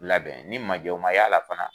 Labɛn ni majɔn ma y'a la fana.